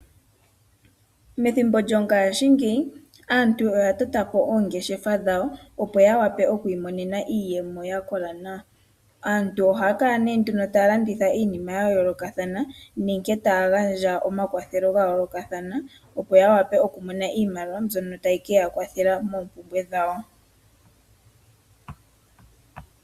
Methimbo lyongashingeyi aantu oya tota po oongeshefa dhawo opo ya wape okumona iiyemo ya kola nawa. Aantu ohaya kala nee nduno taya landitha iinima ya yoolokathana, nenge taya gandja omakwathelo ga yoolokathana opo ya wape okumona iimaliwa mbyono tayi keya kwathela moompumbwe dhawo.